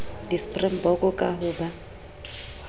di springbok ka ho ba